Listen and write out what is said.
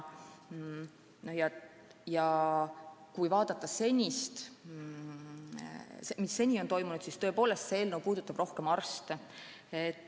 Kui aga vaadata seni toimunut, siis võib öelda, et eelnõu puudutab rohkem arste.